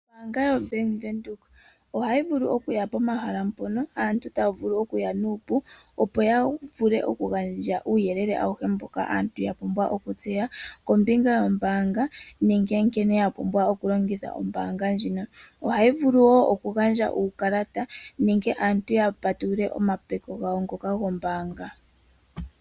Ombaanga ndjoka yobank Windhoek ohayi vulu okuya pomahala ngoka aantu taya vulu okuya nuupu opo yavule okugandja uuyelele awuhe mboka aantu yapumbwa okutseya kombinga yombaanga nenge nkene yapumbwa okulongitha ombaanga oyo tuu ndjika. Ohayi vulu woo oku gandja uukalata nohayi pitike aantu yapatulule omapeko gawo ngoka gombaanga.